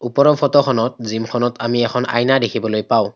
ওপৰৰ ফটো খনত জিম খনত আমি এখন আইনা দেখিবলৈ পাওঁ।